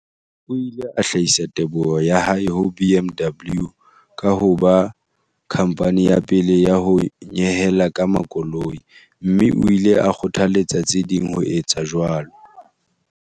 O ile a hlahisa teboho ya hae ho BMW ka ho ba khamphani ya pele ya ho nyehela ka makoloi, mme o ile a kgothaletsa tse ding ho etsa jwalo.